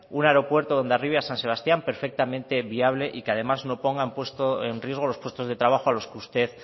un aeropuerto de hondarribia san sebastián perfectamente viable y que además no ponga en riesgo los puestos de trabajo a los que usted